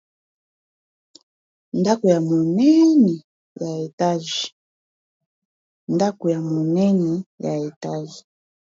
Ndako ya monene ya etage.